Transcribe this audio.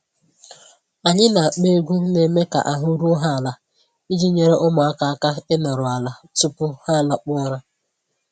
Anyị na-akpọ egwu na-eme ka ahụ́ ruo ha ala iji nyere ụmụaka aka ịnoru ala tupu ha alakpuo ụra.